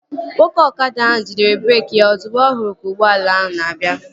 Nwoke ọkada ahụ jidere breeki ya ozugbo ọ hụrụ ka ụgbọala ahụ na-abịa